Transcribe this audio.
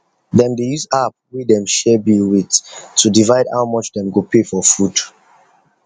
dem dey use app wey dem share bill with to divide how much dem go pay for food